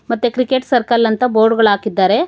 ಮತ್ತೆ cricket circle ಅಂತ board ಗಳಕಿದ್ದಾರೆ.